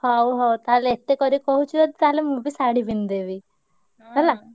ହଉ ହଉ ତାହେଲେ ଏତେ କରି କହୁଛୁ ଯଦି ତାହେଲେ ମୁଁ ବି ଶାଢୀ ପିନ୍ଧିଦେବି। ହେଲା?